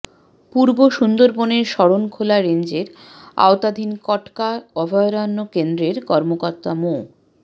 পুর্ব সুন্দরবনের শরণখোলা রেঞ্জের আওতাধীন কটকা অভায়রণ্য কেন্দ্রের কর্মকর্তা মো